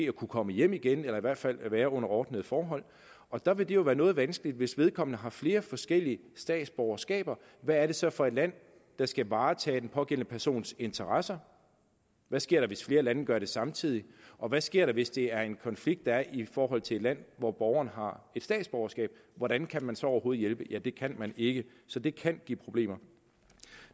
kunne komme hjem igen eller i hvert fald være under ordnede forhold og der vil det jo være noget vanskeligt hvis vedkommende har flere forskellige statsborgerskaber hvad er det så for et land der skal varetage den pågældende persons interesser hvad sker der hvis flere lande gør det samtidig og hvad sker der hvis det er en konflikt der er i forhold til et land hvor borgeren har et statsborgerskab hvordan kan man så overhovedet hjælpe ja det kan man ikke så det kan give de problemer